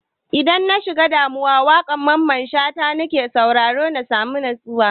Idan na shiga damuwa, waƙan Mamman Shata na ke sauraro na sami natsuwa.